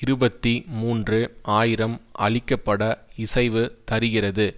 இருபத்தி மூன்று ஆயிரம் அழிக்கப்பட இசைவு தருகிறது